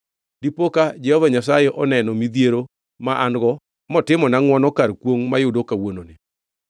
Dipo ka Jehova Nyasaye oneno midhiero ma an-go motimona ngʼwono kar kwongʼ mayudo kawuononi.”